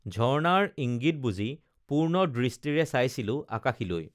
ঝৰ্ণাৰ ইংগিত বুজি পূৰ্ণ দৃষ্টিৰে চাইছিলো আকাশীলৈ